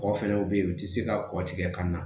Kɔ fɛnɛ bɛ ye u tɛ se ka kɔtikɛ ka na